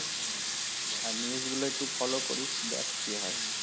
আর news গুলো follow করিস দেখ কি হয়